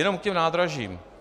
Jenom k těm nádražím.